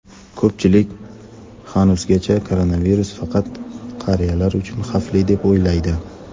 ko‘pchilik hanuzgacha koronavirus faqat qariyalar uchun xavfli deb o‘ylaydi.